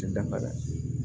Dafara